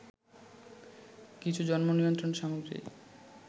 কিছু জন্ম নিয়ন্ত্রণ সামগ্রী